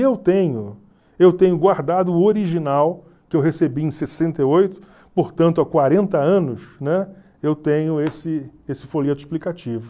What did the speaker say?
E eu tenho, eu tenho guardado o original que eu recebi em sessenta e oito, portanto há quarenta anos, né, eu tenho esse folheto explicativo.